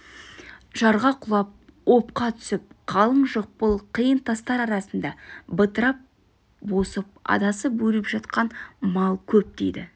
жарға құлап опқа түсіп қалың жықпыл қиын тастар арасында бытырап босып адасып өліп жатқан мал көп дейді